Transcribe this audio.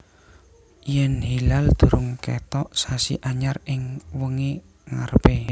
Yèn hilal durung kètok sasi anyar ing wengi ngarepé